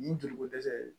Nin joli ko dɛsɛ in